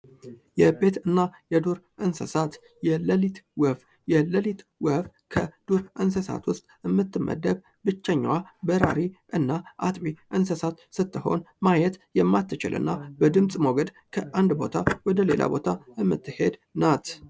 የቤትና የዱር እንስሳት የሌሊት ወፍ ከዱር እንስሳት ውስጥ የምትመደብ ብቸኛዋ በራሬና አጥቢ ስትሆን ማየት የሚያትችል ነው በድምጽ ሞገድ የምትሄድ ናት።